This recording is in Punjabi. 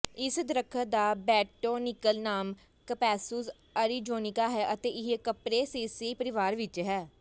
ਇਸ ਦਰੱਖਤ ਦਾ ਬੋਟੈਨੀਕਲ ਨਾਮ ਕਪੈਸੁਸ ਅਰੀਜ਼ੋਨਿਕਾ ਹੈ ਅਤੇ ਇਹ ਕੱਪਰੇਸੇਏਈ ਪਰਿਵਾਰ ਵਿੱਚ ਹੈ